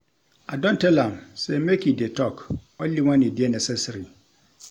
I don tell am sey make e dey tok only wen e dey necessary.